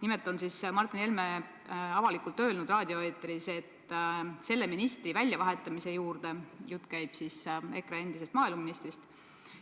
Nimelt on Martin Helme avalikult raadioeetris öelnud, et selle ministri väljavahetamise juurde – jutt käib siis endisest EKRE maaeluministrist